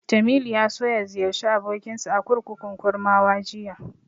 Jamilu ya so ya ziyarci abokinsa a kurkukun Kurmawa jiya.